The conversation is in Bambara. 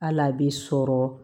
Hali a bɛ sɔrɔ